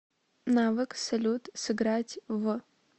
навык салют сыграть в